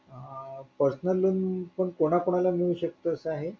personal loan पण कोणा कोणाला मिळू शकते असं आहे